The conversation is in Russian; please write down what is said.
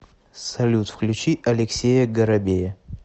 салют включи алексея горобея